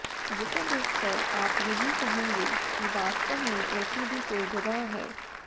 जिसे देखकर आप यहीं कहेंगे कि वास्तव में ऐसी भी कोई जगह है